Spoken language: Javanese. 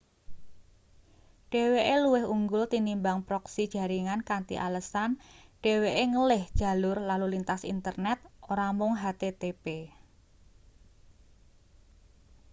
dheweke luwih unggul tinimbang proksi jaringan kanthi alesan dheweke ngelih jalur lalu lintas internet ora mung http